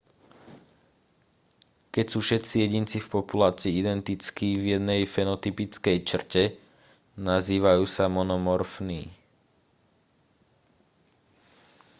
keď sú všetci jedinci v populácii identickí v jednej fenotypickej črte nazývajú sa monomorfní